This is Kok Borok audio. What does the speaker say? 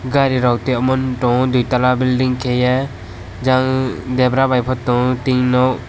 gari rok tai omo duitala building kaie jal debra by tongo tin nok.